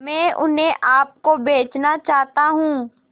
मैं उन्हें आप को बेचना चाहता हूं